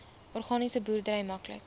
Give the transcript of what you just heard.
organiese boerdery maklik